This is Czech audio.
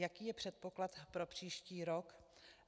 Jaký je předpoklad pro příští rok?